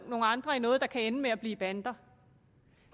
nogle andre i noget der kan ende med at blive bander